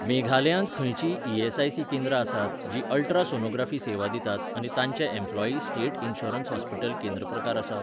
मेघालयांत खंयचींय ई.एस.आय.सी केंद्रां आसात जीं अल्ट्रासोनोग्राफी सेवा दितात आनी तांचें एम्प्लॉयी स्टेट इन्शुरन्स हॉस्पीटल केंद्र प्रकार आसा?